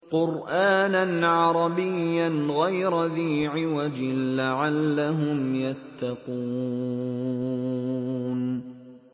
قُرْآنًا عَرَبِيًّا غَيْرَ ذِي عِوَجٍ لَّعَلَّهُمْ يَتَّقُونَ